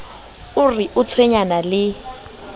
o re o tshwenyana le